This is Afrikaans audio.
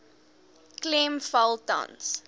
klem val tans